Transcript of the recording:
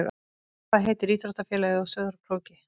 Hvað heitir íþróttafélagið á Sauðárkróki?